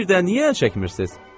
Birdə niyə əl çəkmirsiz?